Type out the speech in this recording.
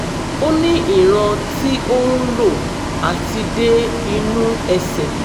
ó ní ìran tí ó ń lọ àti dé inú ẹ̀sẹ̀